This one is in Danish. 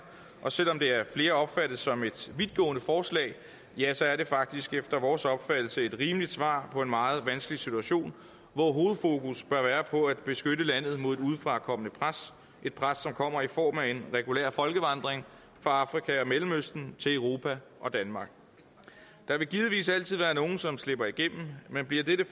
og selv om det af flere opfattes som et vidtgående forslag ja så er det faktisk efter vores opfattelse et rimeligt svar på en meget vanskelig situation hvor hovedfokus bør være på at beskytte landet mod et udefrakommende pres et pres som kommer i form af en regulær folkevandring fra afrika og mellemøsten til europa og danmark der vil givetvis altid være nogle som slipper igennem men bliver dette